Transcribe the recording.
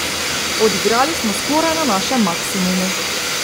Odigrali smo skoraj na našem maksimumu.